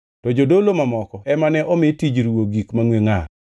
To jodolo mamoko ema ne omi tij ruwo gik mangʼwe ngʼar.